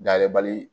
Dayɛlɛbali